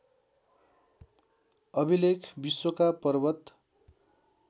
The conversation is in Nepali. अभिलेख विश्वका पर्वत